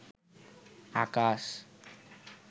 আকাশ